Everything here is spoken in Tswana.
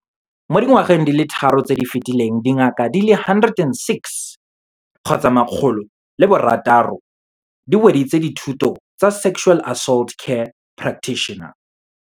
Mo dingwageng di le tharo tse di fetileng, dingaka di le 106 di weditse dithuto tsa Sexual Assault Care Prac-titioner.